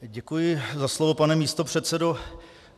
Děkuji za slovo, pane místopředsedo.